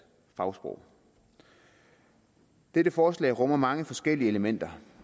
fagsprog dette forslag rummer mange forskellige elementer